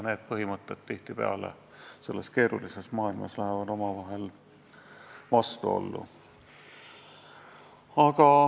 Need põhimõtted lähevad praeguses keerulises maailmas omavahel vastuollu.